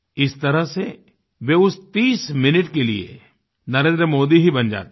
इस तरह से वे उस 30 मिनिट्स के लिए नरेन्द्र मोदी ही बन जाते हैं